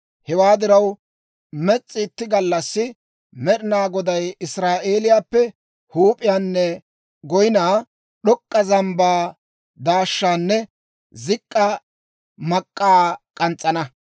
Hewaa diraw, mes's'i itti gallassi Med'inaa Goday Israa'eeliyaappe huup'iyaanne goyinaa, d'ok'k'a zambbaa daashshaanne zik'k'a mak'k'aa k'ans's'ana.